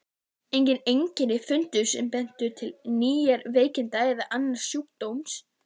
Engin einkenni fundust sem bentu til nýrnaveiki eða annars sjúkdóms.